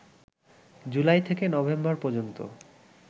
জুলাই থেকে নভেম্বর পর্যন্ত